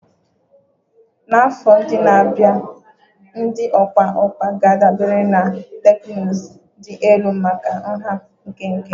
Na afọ ndị na-abịa, ndị ọkwa ọkwa ga-adabere na teknụzụ dị elu maka nha nkenke